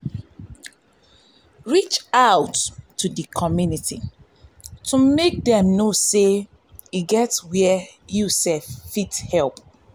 reach out to di um community to make dem know sey e get where you fit help